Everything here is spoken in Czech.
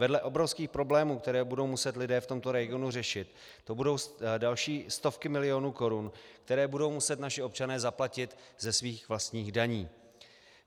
Vedle obrovských problémů, které budou muset lidé v tomto regionu řešit, to budou další stovky milionů korun, které budou muset naši občané zaplatit ze svých vlastních daní.